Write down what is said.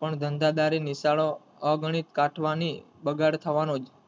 પણ ધંધા દારી નિશાળોઅગણિત કાઠવાની બગાડ થવાની